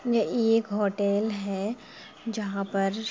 ये इ एक होटल है जहां पर --